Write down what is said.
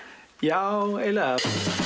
já eiginlega